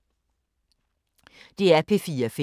DR P4 Fælles